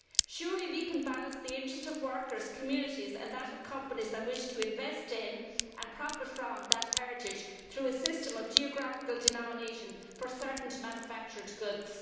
Surely we can balance the interests of workers, communities with those of companies that wish to invest in, and profit from, that heritage through a system of geographical denomination for certain manufactured goods.